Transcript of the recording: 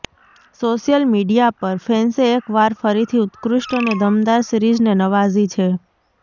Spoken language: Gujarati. સોશિયલ મીડિયા પર ફેન્સે એક વાર ફરીથી ઉત્કૃષ્ટ અને દમદાર સીરિઝને નવાજી છે